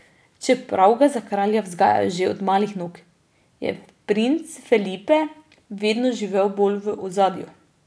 Čeprav ga za kralja vzgajajo že od malih nog, je princ Felipe vedno živel bolj v ozadju.